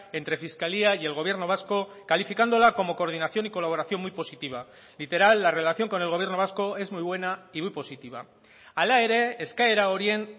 entre fiscalía y el gobierno vasco calificándola como coordinación y colaboración muy positiva literal la relación con el gobierno vasco es muy buena y muy positiva hala ere eskaera horien